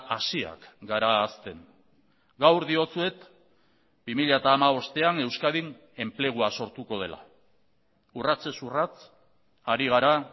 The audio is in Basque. hasiak gara hazten gaur diotsuet bi mila hamabostean euskadin enplegua sortuko dela urratsez urrats ari gara